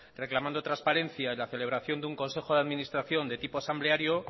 reclamando transparencia y la celebración de un consejo de administración de tipo asambleario